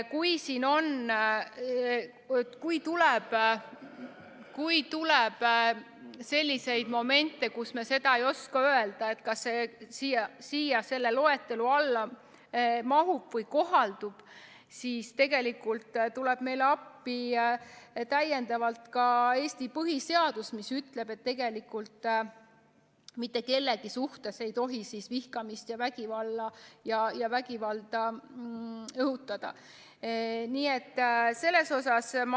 Kui tekib selliseid momente, kus me ei oska öelda, kas siia selle loetelu alla mahub, siis tuleb meile appi ka Eesti põhiseadus, mis ütleb, et mitte kellegi suhtes ei tohi vihkamist ja vägivalda õhutada.